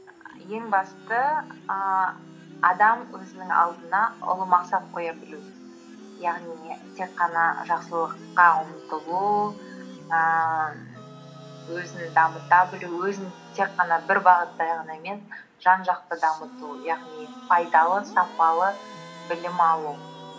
ең басты ііі адам өзінің алдына ұлы мақсат қоя білу яғни не тек қана жақсылыққа ұмтылу ііі өзін дамыта білу өзін тек қана бір бағытта жан жақты дамыту яғни пайдалы сапалы білім алу